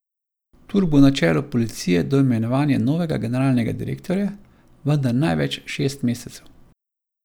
Turk bo na čelu policije do imenovanja novega generalnega direktorja, vendar največ šest mesecev.